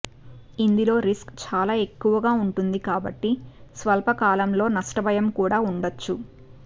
ఇందులో రిస్క్ చాలా ఎక్కువగా ఉంటుంది కాబట్టి స్వల్ప కాలం లో నష్ట భయం కూడా ఉండొచ్చు